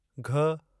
घ